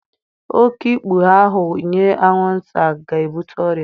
Oké ikpughe ahụ nyé anwụnta ga-ebute ọrịa